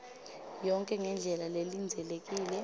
yonkhe ngendlela lelindzelekile